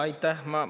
Aitäh!